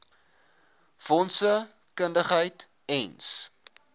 fondse kundigheid ens